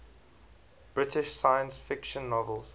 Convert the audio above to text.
british science fiction novels